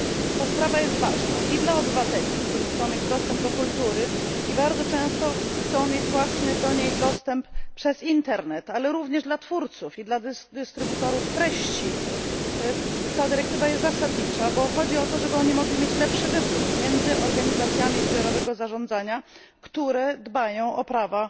Ta sprawa jest ważna i dla obywateli, którzy chcą mieć dostęp do kultury i bardzo często chcą mieć właśnie do niej dostęp przez internet, ale również dla twórców i dla dystrybutorów treści ta dyrektywa jest zasadnicza, bo chodzi o to, żeby mogli oni mieć lepszy wybór między organizacjami zbiorowego zarządzania, które dbają o prawa